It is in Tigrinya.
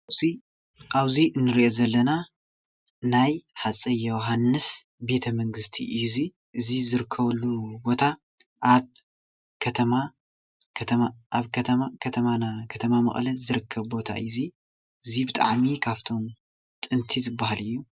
እዚ ኣብ እዚ እንሪኦ ዘለና ናይ ሃፀይ ዮውሃንስ ቤተ መንግስቲ እዩ እዚ፡፡ እዚ ዝርከበሉ ቦታ ኣብ ከተማና ከተማ መቐለ ዝርከብ ቦታ እዩ፡፡ እዚ ብጣዕሚ ካብቶም ጥንቲ ዝባሃል እዩ፡፡